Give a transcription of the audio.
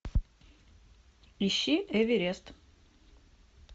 ищи эверест